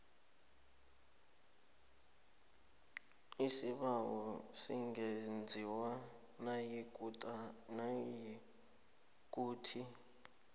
isibawo singenziwa nayikuthi